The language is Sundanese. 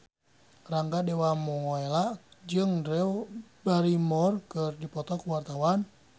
Rangga Dewamoela jeung Drew Barrymore keur dipoto ku wartawan